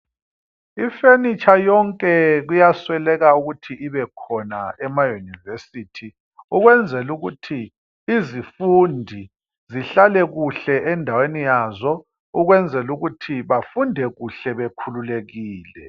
I furniture yonke kuyasweleka ukuthi ibekhona emaYunivesithi ukwenzela ukuthi izifundi zihlale kuhle endaweni yazo ukuze bafunde kuhle bekhululekile.